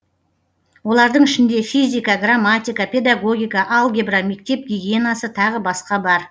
олардың ішінде физика грамматика педагогика алгебра мектеп гигиенасы тағы басқа бар